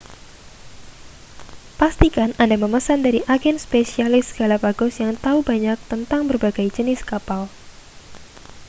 pastikan anda memesan dari agen spesialis galapagos yang tahu banyak tentang berbagai jenis kapal